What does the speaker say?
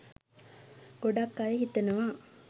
ගොඩක් අය හිතනවා?